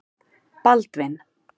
Baldvin